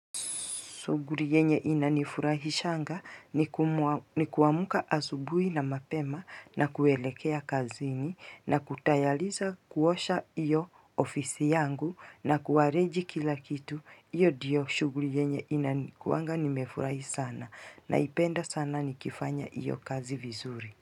Shuguri yenye ina nifurahi shanga ni kuamuka asubui na mapema na kuelekea kazini na kutayaliza kuosha iyo ofisi yangu na kuwarenji kila kitu. Iyo ndio shuguri yenye ina nifurahi sana na ipenda sana ni kifanya iyo kazi vizuri.